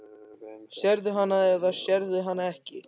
Sérðu hana eða sérðu hana ekki?